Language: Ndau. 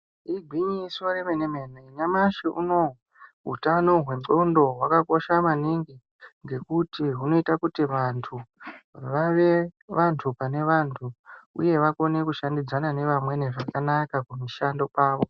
Igwinyiso remene mene, nyamashi unowu hutano hwendxondo hwakakosha maningi ngekuti hunoita kuti vantu vave vantu pane vantu uye vakone kushandidzana nevamweni zvakanaka kumishando kwavo.